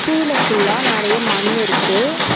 கீழ ஃபுல்லா நெறைய மண்ணு இருக்கு.